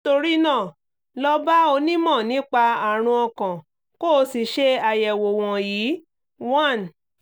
nítorí náà lọ bá onímọ̀ nípa àrùn ọkàn kó o sì ṣe àyẹ̀wò wọ̀nyí: one